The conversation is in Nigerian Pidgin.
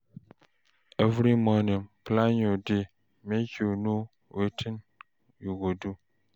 Every morning, plan your day, make you know wetin you go do.